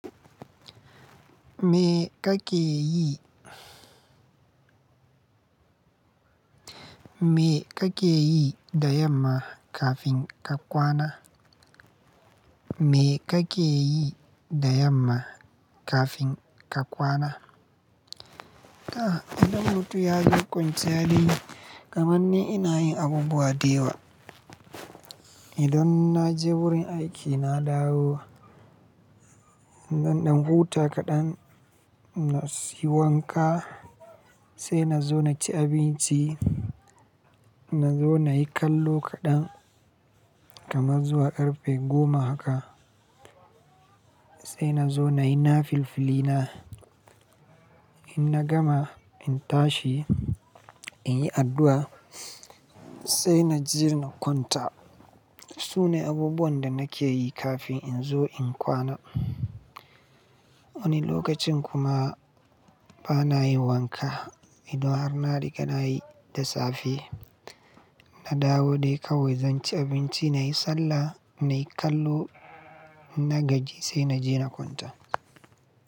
Me ka ke yi? Me ka ke yi da yamma kafin ka kwana? Me ka ke yi da yamma kafin ka kwana? A'a, idan mutum ya zo kwanciya dai, kamar ni ina yin abubuwa da yawa. Idan na je wurin aiki na dawo, Zan ɗan huta kaɗan na siyo wanka, sai na zo na ci abinci, na zo na yi kallo kaɗan kamar zuwa ƙarfe goma haka. Sai na zo nayi na filfilina. In na gama, in tashi, in yi addu'a sai na je na kwanta. Su ne abubuwan da nake yi kafin in zo in kwana. Wani lokacin kuma bana yin wanka. Idan har na riga na yi da safe, na dawo dai kawai zan ci abinci, na yi sallah, na yi kallo, na gaji sai na je na kwanta.